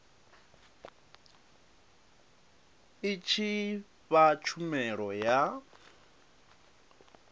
i tshi fha tshumelo ya